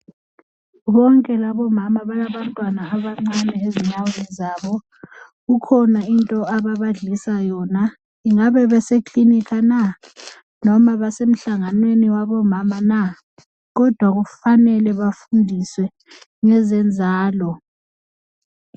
Bonke laba omama balaba ntwana abancane ezinyaweni zabo kukhona into ababadlisa yona ingabe besekilinika na noma basemhlanganweni wabomama na kodwa kufanele bafundiswe ngeze nzalo.